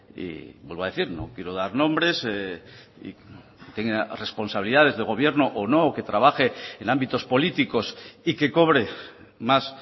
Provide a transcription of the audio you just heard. y vuelvo a decir no quiero dar nombres y tenga responsabilidades de gobierno o no que trabaje en ámbitos políticos y que cobre más